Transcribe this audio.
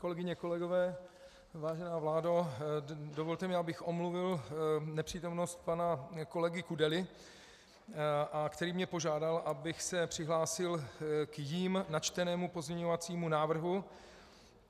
Kolegyně, kolegové, vážená vládo, dovolte mi, abych omluvil nepřítomnost pana kolegy Kudely, který mě požádal, abych se přihlásil k jím načtenému pozměňovacímu návrhu.